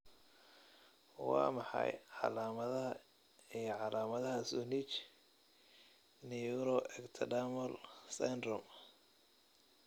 Waa maxay calaamadaha iyo calaamadaha Zunich neuroectodermal syndrome?